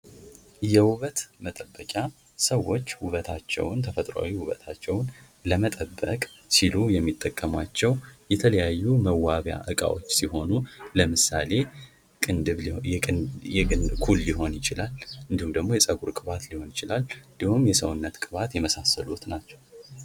የውበት መጠበቂያ ሰዎች ውበታቸውን ተፈጥሯዊ ውበታቸውን ለመጠበቅ ሲሉ የሚጠቀሙባቸው የተለያዩ መዋቢያ እቃዎች ሲሆኑ ለምሳሌ ኩል ሊሆን ይችላል እንደውም ደግሞ የፀጉር ቅባት ሊሆን ይችላል እንዲሁም ደሞ የሰውነት ቅባት የመሳሰሉት ናቸው።